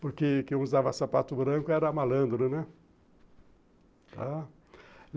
porque quem usava sapato branco era malandro, né?